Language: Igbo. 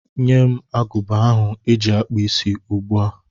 Nye m agụba ahụ eji akpụ isí ugbu a!